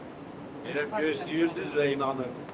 Belə gözləyirdilər və inanırdılar.